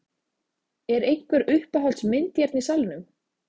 Er einhver uppáhalds mynd hérna í salnum?